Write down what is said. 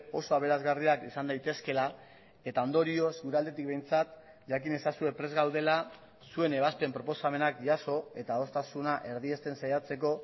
oso aberasgarriak izan daitezkeela eta ondorioz gure aldetik behintzat jakin ezazue prest gaudela zuen ebazpen proposamenak jaso eta adostasuna erdiesten saiatzeko